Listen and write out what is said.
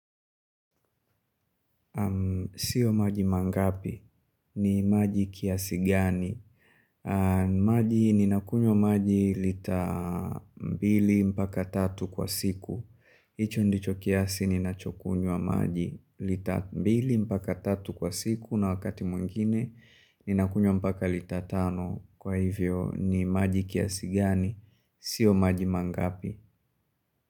Sio maji mangapi. Ni maji kiasi gani. Maji ninakunywa maji lita mbili mpaka tatu kwa siku. Hicho ndicho kiasi ninachokunywa maji lita mbili mpaka tatu kwa siku. Na wakati mwingine ninakunywa mpaka lita tano. Kwa hivyo ni maji kiasigani. Sio maji mangapi.